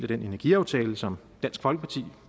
den energiaftale som dansk folkeparti